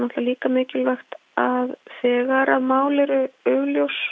líka mikilvægt að þegar mál eru augljós